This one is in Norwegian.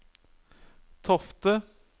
Tofte